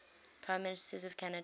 prime ministers of canada